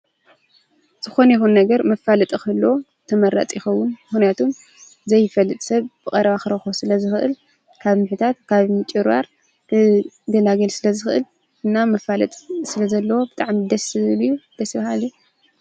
ዝኾነ ይኹን ነገር መፋለጢ ክህልዎ ተመራጺ ይኸውን። ምኽንያቱ ዘይፈልጥ ሰብ ብቐረባ ክረኽቦ ስለ ዝኽእል ካብ ምሕታት፣ ካብ ምጭብርባር ክገላገል ስለ ዝኽእል እና መፋለጢ ስለ ዘለዎ ብጣዓሚ ደስ ዝብል እዩ። ደስ ባሃሊ።